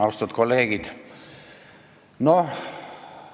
Austatud kolleegid!